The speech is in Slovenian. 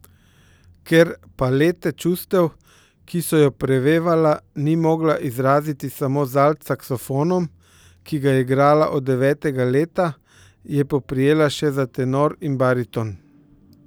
Ker palete čustev, ki so jo prevevala, ni mogla izraziti samo z alt saksofonom, ki ga je igrala od devetega leta, je poprijela še za tenor in bariton.